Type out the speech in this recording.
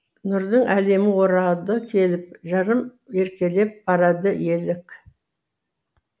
нұрдың әлемі орады келіп жырым еркелеп барады елік